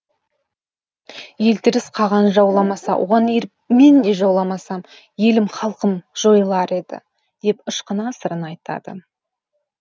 елтеріс қаған жауламаса оған еріп мен де жауламасам елім халқым жойылар еді деп ышқына сырын айтады